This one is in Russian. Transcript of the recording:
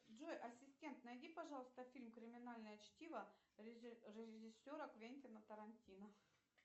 джой ассистент найди пожалуйста фильм криминальное чтиво режиссера квентина тарантино